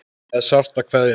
Það er sárt að kveðja.